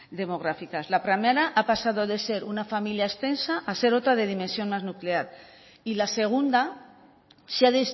demográficas la primera ha pasado de ser una familia extensa a ser otra de dimensión más nuclear y la segunda se ha